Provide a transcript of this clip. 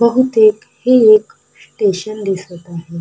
बहुतेक हे एक स्टेशन दिसत आहे.